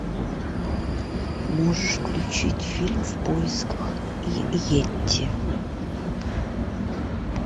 можешь включить фильм в поисках йети